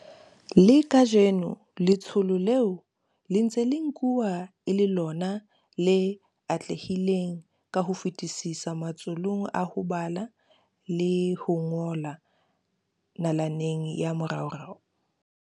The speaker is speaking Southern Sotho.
Le kajeno letsholo leo le ntse le nkuwa e le lona le atlehileng ka ho fetisisa matsholong a ho bala le ho ngola nalaneng ya moraorao.